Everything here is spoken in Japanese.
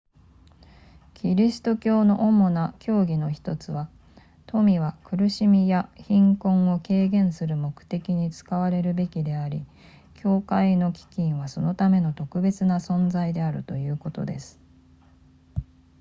キリスト教の主な教義の1つは富は苦しみや貧困を軽減する目的に使われるべきであり教会の基金はそのための特別な存在であるということです